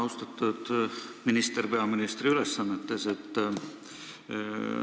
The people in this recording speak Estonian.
Austatud kultuuriminister peaministri ülesannetes!